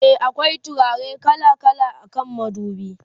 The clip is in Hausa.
e akwai turare kala kala akan madubi